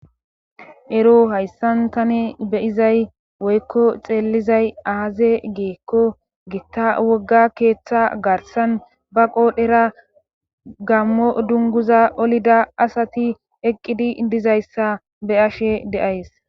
Ero hayssan tane beyizay woykko xeellizay aaze geekko gitta wogga keeththa garsan ba qoodhera gammo dunguza olida asati eqqidi dizayssa be ashe de'ays.